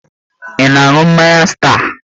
Ị na-aṅụ mmanya star?